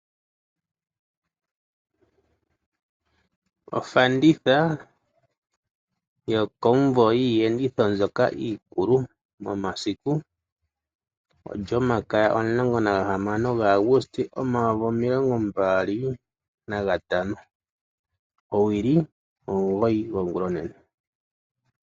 Ofanditha yokomuvo yiiyenditho mbyoka iikulu. Omasiku olyomakaya omulongo nagahamano gaAuguste omayovi omilongo mbali nagatano. Owili omugoyi gwo ngulonene.